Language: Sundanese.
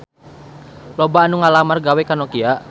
Loba anu ngalamar gawe ka Nokia